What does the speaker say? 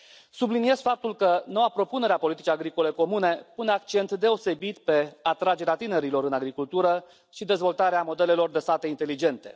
Subliniez faptul că noua propunere a politicii agricole comune pune accent deosebit pe atragerea tinerilor în agricultură și dezvoltarea modelelor de sate inteligente.